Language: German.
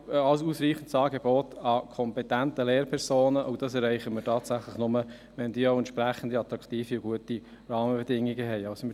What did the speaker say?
Ein ausreichendes Angebot an kompetenten Lehrpersonen erreichen wir tatsächlich nur, wenn diese entsprechend attraktive, gute Rahmenbedingungen haben.